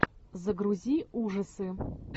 загрузи ужасы